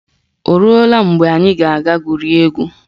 Oruola mgbe anyị ga-aga gwurie egwu?